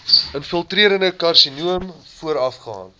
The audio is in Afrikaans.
infiltrerende karsinoom voorafgaan